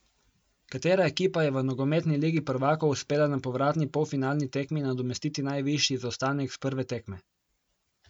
Katera ekipa je v nogometni Ligi prvakov uspela na povratni polfinalni tekmi nadomestiti najvišji zaostanek s prve tekme?